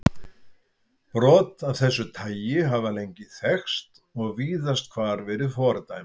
Brot af þessu tagi hafa lengi þekkst og víðast hvar verið fordæmd.